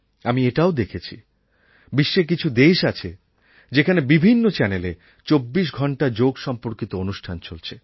আমি এটাও দেখেছি বিশ্বে কিছু দেশ আছে যেখানে বিভিন্ন চ্যানেলে চব্বিশ ঘণ্টা যোগ সম্পর্কিত অনুষ্ঠান চলছে